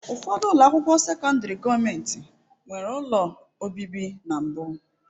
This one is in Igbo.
Ụfọdụ ụlọ akwụkwọ sekọndrị gọọmentị nwere ụlọ obibi na mbụ.